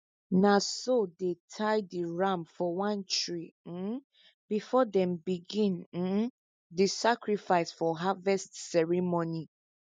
na so they tie the ram for one tree um before them begin um the sacrifice for harvest ceremony